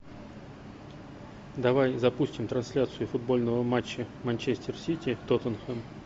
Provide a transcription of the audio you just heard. давай запустим трансляцию футбольного матча манчестер сити тоттенхэм